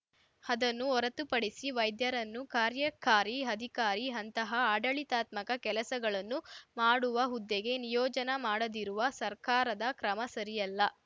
ಅದನ್ನು ಹೊರತುಪಡಿಸಿ ವೈದ್ಯರನ್ನು ಕಾರ್ಯಕಾರಿ ಅಧಿಕಾರಿ ಅಂತಹ ಆಡಳಿತಾತ್ಮಕ ಕೆಲಸಗಳನ್ನು ಮಾಡುವ ಹುದ್ದೆಗೆ ನಿಯೋಜನ ಮಾಡಿದಿರುವ ಸರ್ಕಾರದ ಕ್ರಮ ಸರಿಯಲ್ಲ